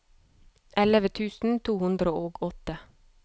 elleve tusen to hundre og åtte